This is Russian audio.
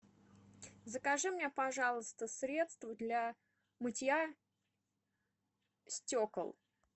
закажи мне пожалуйста средство для мытья стекол